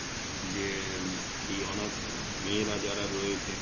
যে এই অনাথ মেয়েরা যারা রয়েছে